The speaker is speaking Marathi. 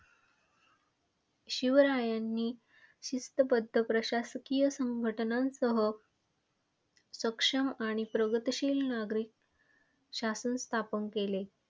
शिवरायांनी शिस्तबद्ध प्रशासकीय संघटनांसह सक्षम आणि प्रगतशील नागरीक शासन स्थापन केले.